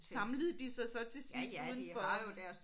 Samlede de sig så til sidst uden for